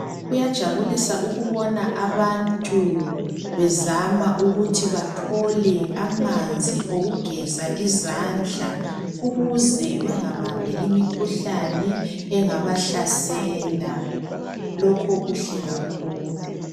Kuyajabulisa ukubona abantu bezama ukuthi bathole amanzi okugeza izandla. Ukuze bengabambi imikhuhlane engabahlasela lokho kuhle kakhulu.